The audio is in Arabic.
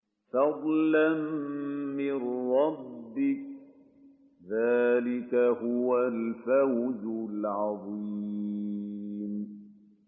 فَضْلًا مِّن رَّبِّكَ ۚ ذَٰلِكَ هُوَ الْفَوْزُ الْعَظِيمُ